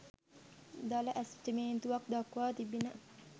දළ ඇස්තමේන්තුවක් දක්වා තිබිණ